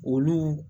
Olu